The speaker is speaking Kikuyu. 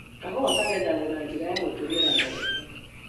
Kahũwa ka gethagwo na njĩra ya gũtũmĩra Moko.